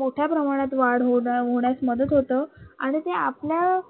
मोठ्या प्रमाणात वाढ होण्यास मदत होतं आणि ते आपल्या